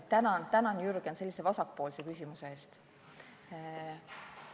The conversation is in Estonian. Tänan, tänan, Jürgen, sellise vasakpoolse küsimuse eest!